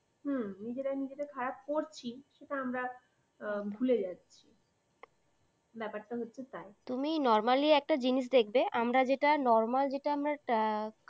হু নিজেরাই নিজেদের খারাপ করছি । সেটা আমরা ভুলে যাচ্ছি ব্যাপারটা হচ্ছে তাই। তুমি normally একটা জিনিস দেখবে, আমরা যেটা normal যেটা আমরা